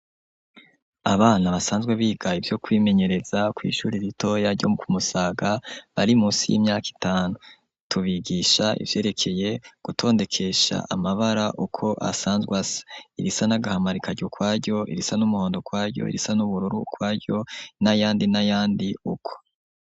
Abana basanzwe biga ivyo kwimenyereza kw'ishuri ritoya ryo ku Musaga bari musi y'imyaka itanu, tubigisha ivyerekeye gutondekesha amabara uko asanzwe asa, irisa n'agahama rikaja ukwaryo, irisa n'umuhondo ukwaryo, irisa n'ubururu ukwaryo, n'ayandi n'ayandi uko.